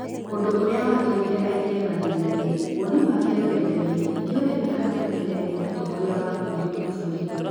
ũndũũrĩa watũmire aingĩre mathĩna -inĩ, woni wake rũrendainĩ nĩ ũrerĩkana kũmenereria mũtongoria wa bũrũri Maguburi.